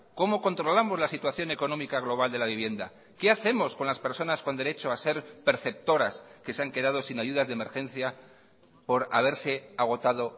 cómo controlamos la situación económica global de la vivienda qué hacemos con las personas con derecho a ser perceptoras que se han quedado sin ayudas de emergencia por haberse agotado